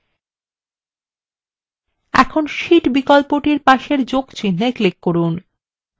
এখন শীট বিকল্পটির পাশে যোগ চিন্হে click করুন